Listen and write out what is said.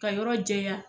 Ka yɔrɔ jɛya